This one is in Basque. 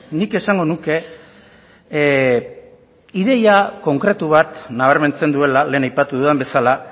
nik esango nuke ideia konkretu bat nabarmentzen duela lehen aipatu dudan bezala